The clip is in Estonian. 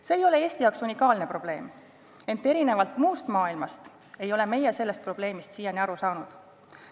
See ei ole unikaalne Eesti probleem, ent erinevalt muust maailmast ei ole meie sellest probleemist siiani aru saanud.